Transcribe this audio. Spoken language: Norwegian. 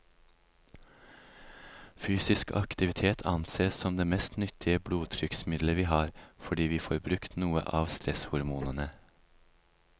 Fysisk aktivitet ansees som det mest nyttige blodtrykksmiddelet vi har, fordi vi får brukt noe av stresshormonene.